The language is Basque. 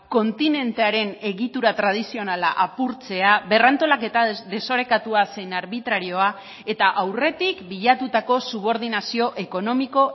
kontinentearen egitura tradizionala apurtzea berrantolaketa desorekatua zein arbitrarioa eta aurretik bilatutako subordinazio ekonomiko